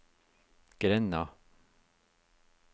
grenda